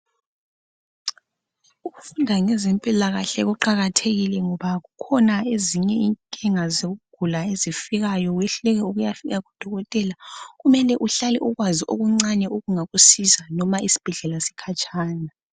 ukufunda ngezempilakahle kuqakathekile ngoba kukhona ezinye izinkinga ezifikayo wehluleke lokuyafika kudokotela ,kumele uhlale ukwazi okuncane okungakusiza loba isibhedlela sikhatshana